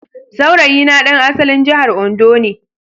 Saurayina ɗan asalin jihar Ondo ne